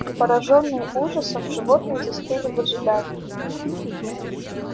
поражённые ужасом животные застыли в ожидании